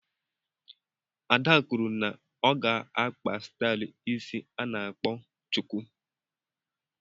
Ada kwụrụ na ọ ga-akpa stylu ịsị ana akpọ chuku.